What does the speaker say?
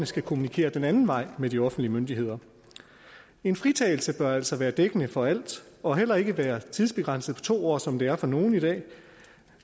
skal kommunikere den anden vej med de offentlige myndigheder en fritagelse bør altså være dækkende for alt og heller ikke være tidsbegrænset på to år som det er for nogle i dag